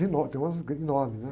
Tem umas enormes, né?